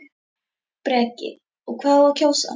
Breki: Og hvað á að kjósa?